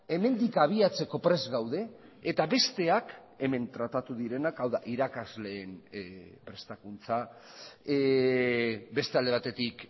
hemendik abiatzeko prest gaude eta besteak hemen tratatu direnak hau da irakasleen prestakuntza beste alde batetik